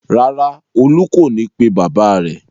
Rárá, Olú kò ní pe bàbá rẹ̀.